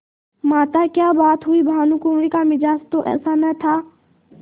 माताक्या बात हुई भानुकुँवरि का मिजाज तो ऐसा न था